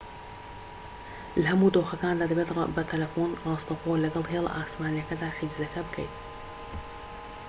لە هەموو دۆخەکاندا دەبێت بە تەلەفۆن راستەوخۆ لەگەڵ هێڵە ئاسمانیەکەدا حیجزەکە بکەیت